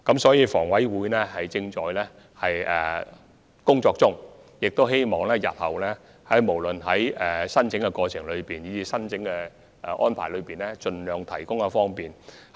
所以，房委會正在進行有關工作，務求日後無論在申請過程以至申請安排方面，均可盡量為市民提供方便。